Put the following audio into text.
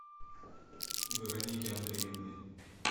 вероники андреевны